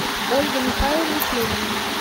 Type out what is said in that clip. ольга михайловна шлемина